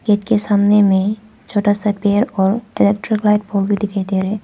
Gate के सामने में छोटा सा पेड़ और इलेक्ट्रिक लाइट पोल भी दिखाई दे रहा है।